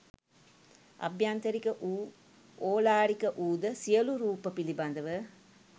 අභ්‍යන්තරික වූ ඕලාරික වූ ද සියලු රූප පිළිබඳව